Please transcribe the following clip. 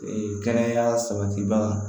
Ee kɛnɛya sabatibaga